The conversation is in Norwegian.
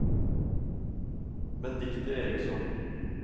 Benedicte Eriksson